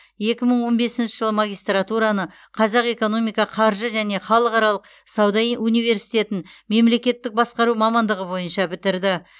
екі мың он бесінші жылы магистратураны қазақ экономика қаржы және халықаралық сауда университетін мемлекеттік басқару мамандығы бойынша бітірді